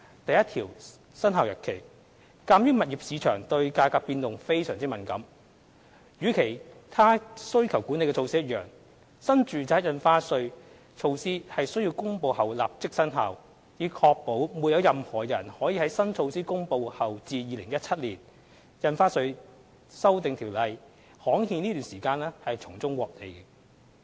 第1條─生效日期鑒於物業市場對價格變動非常敏感，與其他需求管理措施一樣，新住宅印花稅措施須於公布後立即生效，以確保在新措施公布後至《條例草案》刊憲期間，沒有人可從中獲利。